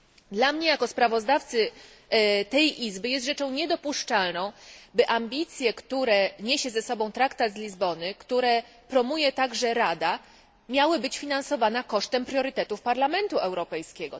Dla mnie, jako sprawozdawcy tej Izby, jest rzeczą niedopuszczalną, by ambicje, które niesie ze sobą traktat z Lizbony, które promuje także Rada, miały być finansowane kosztem priorytetów Parlamentu Europejskiego.